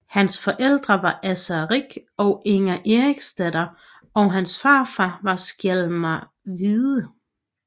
Hans forældre var Asser Rig og Inger Eriksdatter og hans farfar var Skjalm Hvide